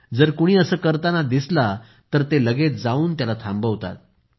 जर कुणी असं करताना दिसला तर ते लगेच जाऊन त्याला थांबवतात